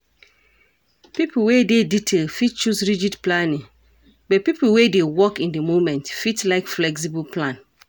Pipo wey dey detailed fit choose rigid planning but pipo wey dey work in di moment fit like flexible plan